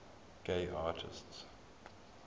gay artists